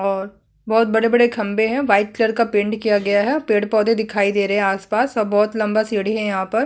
और बहोत बड़े-बड़े खम्बे है वाइट कलर का पेंट किया गया है और पेड़-पोधे दिखाई दे रहे है आस-पास और बहोत लम्बा सीढ़ी है यहाँ पर--